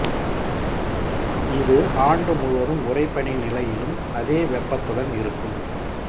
இது ஆண்டு முழுவதும் உறைபனி நிலையிலும் அதே வெப்பத்துடன் இருக்கும்